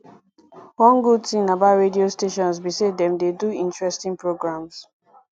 one good thing about radio stations be say dem dey do interesting programs